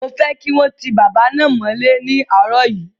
Mo fẹ́ kí wọ́n ti bàbá náà mọ́lẹ́ ní àárọ̀ yìí!